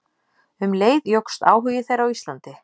Um leið jókst áhugi þeirra á Íslandi.